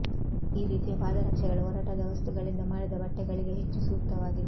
ಈ ರೀತಿಯ ಪಾದರಕ್ಷೆಗಳು ಒರಟಾದ ವಸ್ತುಗಳಿಂದ ಮಾಡಿದ ಬಟ್ಟೆಗಳಿಗೆ ಹೆಚ್ಚು ಸೂಕ್ತವಾಗಿದೆ